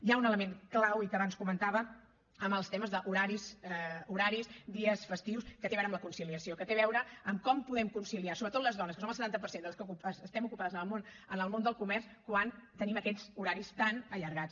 hi ha un element clau i que abans comentava amb els temes d’horaris dies festius que té a veure amb la conciliació que té a veure amb com podem conciliar sobretot les dones que som el setanta per cent de les que estem ocupades en el món del comerç quan tenim aquests horaris tan allargats